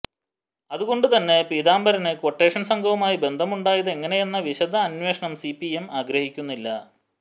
അതുകൊണ്ടു തന്നെ പീതംബരന് ക്വട്ടേഷന് സംഘവുമായി ബന്ധമുണ്ടായത് എങ്ങനെയെന്ന വിശദ അന്വേഷണം സിപിഎം ആഗ്രഹിക്കുന്നില്ല